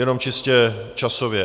Jenom čistě časově.